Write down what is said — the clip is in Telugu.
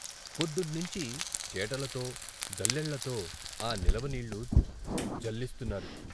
పొద్దుట్నించీ చేటలతో, జల్లెళ్ళతో ఆ నిలవ నీళ్ళు జల్లిస్తున్నారు.